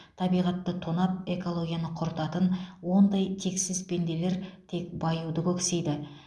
табиғатты тонап экологияны құртатын ондай тексіз пенделер тек баюды көксейді